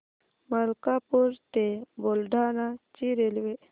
मलकापूर ते बुलढाणा ची रेल्वे